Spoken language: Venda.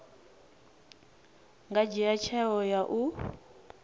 nga dzhia tsheo ya u